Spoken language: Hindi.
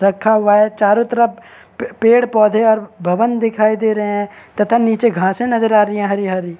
रखा हुआ है चारों तरफ पेड़ पौधे और भवन दिखाई दे रहे हैं तथा नीचे घासे नजर आ रही है हरी हरी।